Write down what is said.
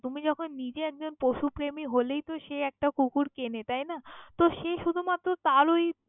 তুমি যখন নিজে একজন পশুপ্রেমী হলেই তো সে একটা কুকুর কেনে তাইনা, তহ সে শুধু মাত্র তার ওই।